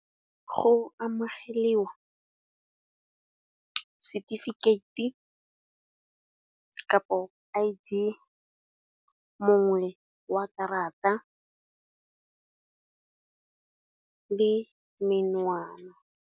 Go amogeliwa setefikeite kapo I_D, mongwe wa karata le menwana.